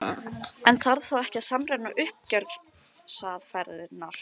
En þarf þá ekki að samræma uppgjörsaðferðirnar?